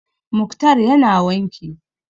Mukhtar ya na wanki